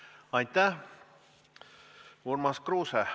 2020. aasta riigieelarves on 4,1 miljonit, mitte 20 miljonit või 20 000, nagu te ülesite.